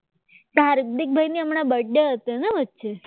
તો હાર્દિકભાઈ ને હમણાં બર્થ ડે હતી ને વચ્ચે